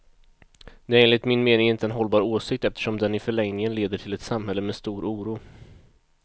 Det är enligt min mening inte en hållbar åsikt, eftersom den i förlängningen leder till ett samhälle med stor oro.